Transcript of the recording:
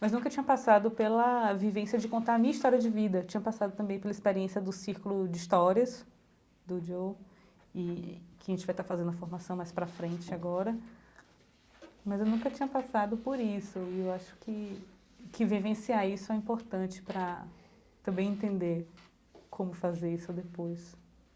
mas nunca tinha passado pela vivência de contar a minha história de vida, tinha passado também pela experiência do círculo de histórias do Joe e que a gente vai estar fazendo a formação mais para a frente agora, mas eu nunca tinha passado por isso e eu acho que que vivenciar isso é importante para também entender como fazer isso depois.